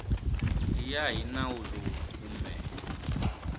ya hi nawu lowu kumbe